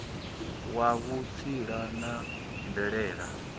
wa vhutsila na mvelele wa